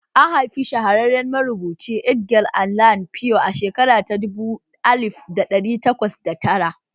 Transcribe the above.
An haifi shahararren marubuci Edgar Allan Poe a shekara ta dubu alif dari takwas da tara